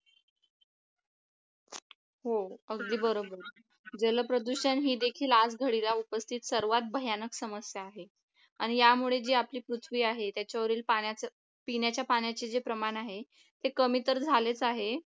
हो अगदी बरोबर जलप्रदूषण हे देखील आज घडीला उपस्थित सर्वात भयानक समस्या आहे आणि यामुळे जे आपली पृथ्वी आहे त्याच्यावरील पाण्याचे पिण्याच्या पाण्याचे जे प्रमाण आहे ते कमी तर झालेच आहे